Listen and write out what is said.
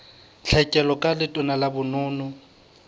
tlhekelo ka letona la bonono